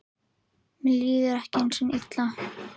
Mér líður ekki einu sinni illa.